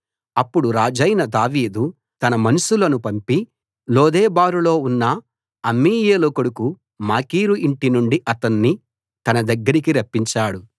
అప్పుడు రాజైన దావీదు తన మనుషులను పంపి లోదెబారులో ఉన్న అమ్మీయేలు కొడుకు మాకీరు ఇంటి నుండి అతణ్ణి తన దగ్గరికి రప్పించాడు